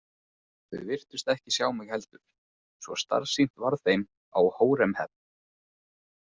Þau virtust ekki sjá mig heldur, svo starsýnt varð þeim á Hóremheb.